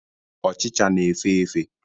Ọchicha na efe efe